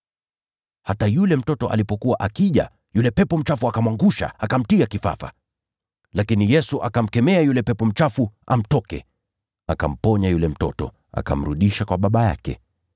Hata yule mtoto alipokuwa akija, yule pepo mchafu akamwangusha, akamtia kifafa. Lakini Yesu akamkemea yule pepo mchafu amtoke, akamponya yule mtoto, na akamrudisha kwa baba yake.